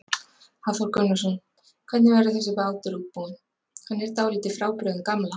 Hafþór Gunnarsson: Hvernig verður þessi bátur útbúinn, hann er dálítið frábrugðinn gamla?